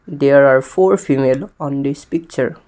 There are four female on this picture.